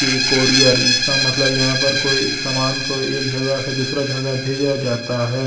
ये कोरियर इसका मतलब यहां पर कोई सामान को एक जगह से दूसरा जगह भेजा जाता है।